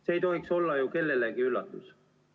See ei tohiks olla ju kellelegi üllatus.